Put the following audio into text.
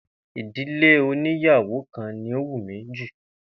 Ìdílé oníyàwo kan ni ó wù mi jù